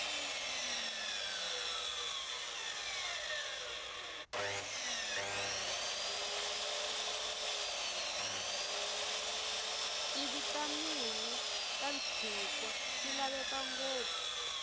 tivitamini tashinkwa tilavekangopfu